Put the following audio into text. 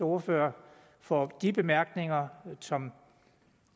ordfører for de bemærkninger som